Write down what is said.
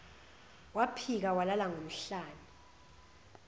waphika walala ngomhlane